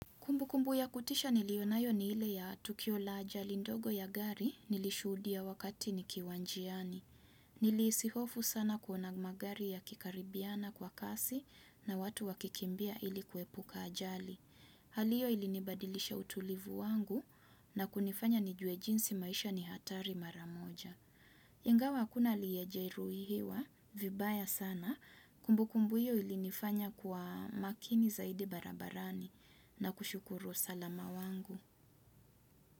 Kumbu kumbu ya kutisha niliyonayo ni ile ya tukio la ajali ndogo ya gari nilishudia wakati ni kiwa njiani. Nili hisihofu sana kuona magari ya kikaribiana kwa kasi na watu wakikimbia ilikuepuka ajali. Hali hio ilinibadilisha utulivu wangu na kunifanya nijue jinsi maisha ni hatari maramoja. Ingawa hakuna aliyejeiruhiwa, vibaya sana, kumbu kumbu hiyo ilinifanya kuwa makini zaidi barabarani na kushukuru usalama wangu.